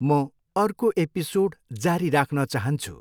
म अर्को एपिसोड जारी राख्न चाहन्छु।